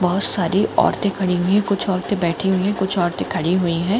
बहुत सारी औरतें खड़े हुए कुछ औरतें बैठे हुए कुछ औरतें खड़े हुए हैं।